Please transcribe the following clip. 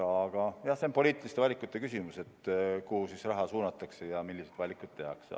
Aga jah, see on poliitiliste valikute küsimus, kuhu raha suunatakse ja milliseid valikuid tehakse.